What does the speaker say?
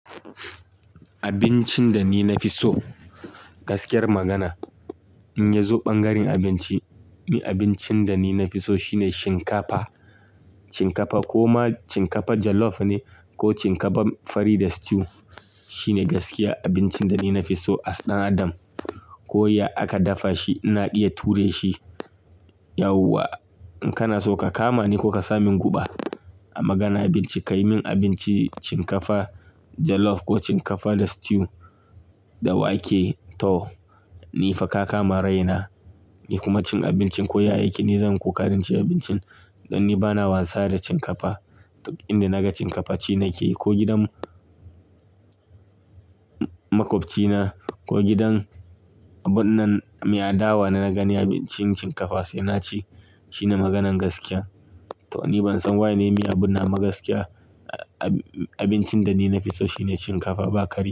Abincin da ni na fi so, gaskiyar magana in ya zo ɓangaren abinci, ni abincin da ni na fi so shine shinkafa. Shinkafa ko ma shinkafa jollof ne ko shinkafa fari da stew shine gaskiya abincin da ni na fi so. As dan adam, ko ya aka dafa shi ina iya ture shi. Yauwa in kana so ka kama ni ko ka sa min guba a maganan abinci, ka yi min abinci shinkafa jollof ko shinkafa da stew da wake to ni fa ka kama raina. Ni kuma cin abincin ko ya yake ni zan ƙoƙarin cin abincin dan ni bana wasa da shinkafa. Inda naga shinkafa ci nake yi ko gidanmu makwabcina ko gidan abun nan mai adawa na naga ni abincin shinkafa sai na ci. Shine maganan gaskiya. To ni ban san waye ne mai abun nan gaskiya. Abincin da ni na fi so shine shinkafa ba karya.